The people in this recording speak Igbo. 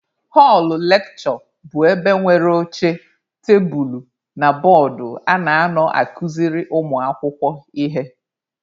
Họlụ lekshure bụ ebe nwere oche, tebulu na bọọdụ a na-anọ akuziri ụmụ akwụkwọ ihe.